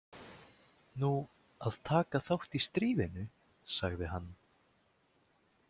Nú, að taka þátt í stríðinu, sagði hann.